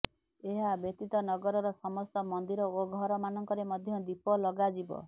ଏହା ବ୍ୟତୀତ ନଗରର ସମସ୍ତ ମନ୍ଦିର ଓ ଘର ମାନଙ୍କରେ ମଧ୍ୟ ଦୀପ ଲଗାଯିବ